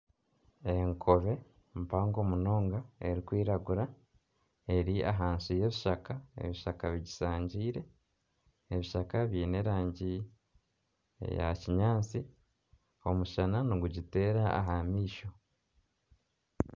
Enkobe mpango munonga erikwiragura ,eri ahansi y'ebishaka ebishaka bigisangiire ,ebishaka biine erangi eya kinyatsi, omushana nigugiteera aha maisho.